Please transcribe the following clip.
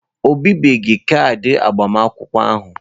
O bibeghị kaadị agbamakwụkwọ ahụ.